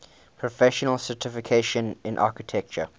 professional certification in architecture